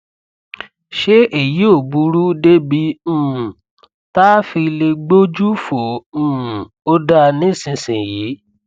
ṣé èyí ò burú débi um tá a fi lè gbójú fò um ó dá nísinsìnyí